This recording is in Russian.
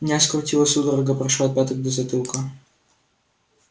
меня скрутило судорога прошёл от пяток до затылка